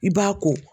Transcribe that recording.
I b'a ko